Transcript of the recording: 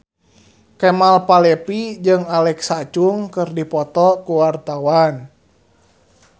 Kemal Palevi jeung Alexa Chung keur dipoto ku wartawan